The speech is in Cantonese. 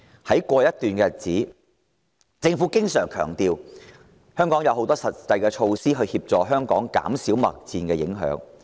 在過去一段日子，政府經常強調已推出多項實際措施，減少貿易戰對香港的影響。